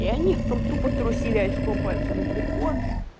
и они там тупо трусили очком поэтому депо